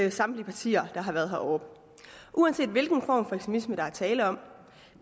af samtlige partier der har været heroppe uanset hvilken form for ekstremisme der er tale om